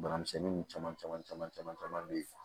Bana misɛnnin caman caman caman bɛ ye